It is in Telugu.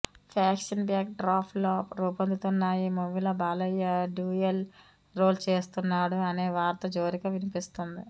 ఫ్యాక్షన్ బ్యాక్ డ్రాప్ లో రూపొందుతున్న ఈ మూవీలో బాలయ్య డ్యూయల్ రోల్ చేస్తున్నాడు అనే వార్త జోరుగా వినిపిస్తోంది